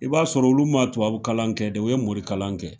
I b'a sɔrɔ olu ma tubabu kalan kɛ dɛ, u ye morikalan kɛ.